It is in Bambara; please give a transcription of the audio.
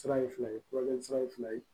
Sira ye fila ye furakɛli sira in fila ye